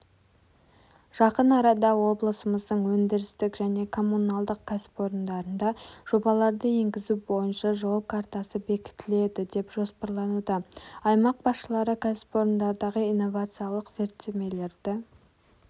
жақын арада облысымыздың өндірістік және коммуналдық кәсіпорындарында жобаларды енгізу бойынша жол картасы бекітіледі деп жоспарлануда аймақ басшылары кәсіпорындардағы инновациялық зерттемелерді